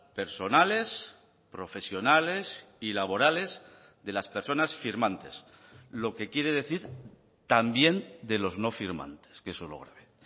personales profesionales y laborales de las personas firmantes lo que quiere decir también de los no firmantes que eso es lo grave